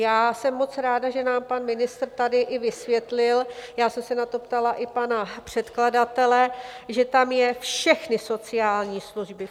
Já jsem moc ráda, že nám pan ministr tady i vysvětlil - já jsem se na to ptala i pana předkladatele - že tam je "všechny sociální služby".